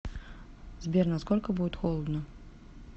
сбер на сколько будет холодно